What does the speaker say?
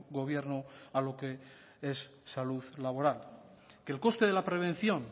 gobierno a lo que es salud laboral que el coste de la prevención